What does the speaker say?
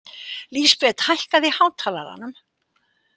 Lísabet, hækkaðu í hátalaranum.